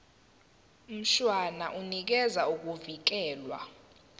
mshwana unikeza ukuvikelwa